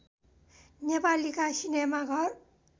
नेपालीका cinema घर